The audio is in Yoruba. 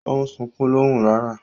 O n sunkun lohùn rara